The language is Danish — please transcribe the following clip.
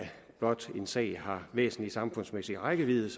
blot en sag har væsentlig samfundsmæssig rækkevidde